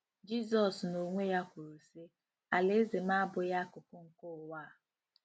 Jizọs n'onwe ya kwuru, sị: “ Alaeze m abụghị akụkụ nke ụwa a.